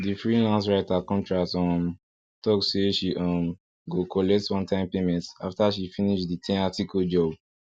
the freelance writer contract um talk say she um go collect one time payment after she finish the ten article job